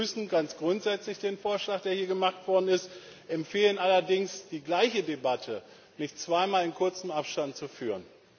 Wir begrüßen ganz grundsätzlich den Vorschlag, der hier gemacht worden ist, empfehlen allerdings, die gleiche Debatte nicht zweimal in kurzem Abstand zu führen.